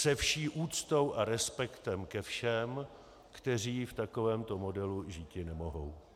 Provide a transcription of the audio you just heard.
Se vší úctou a respektem ke všem, kteří v takovémto modelu žíti nemohou.